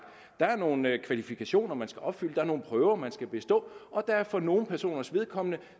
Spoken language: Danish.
der er nogle kvalifikationer man skal opfylde der er nogle prøver man skal bestå og der er for nogle personers vedkommende